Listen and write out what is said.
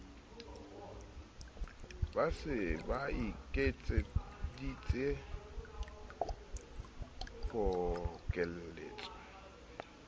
ba se ba iketseditse pokelletso